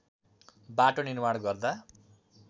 बाटो निर्माण गर्दा